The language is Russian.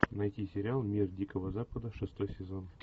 найти сериал мир дикого запада шестой сезон